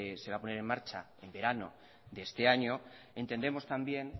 se va a poner en marcha en verano de este año entendemos también